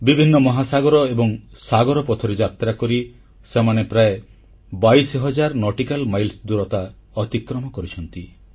ବିଭିନ୍ନ ମହାସାଗର ଏବଂ ସାଗର ପଥରେ ଯାତ୍ରାକରି ସେମାନେ ପ୍ରାୟ 22000 ନଟିକାଲ ମାଇଲ ଅତିକ୍ରମ କରିଛନ୍ତି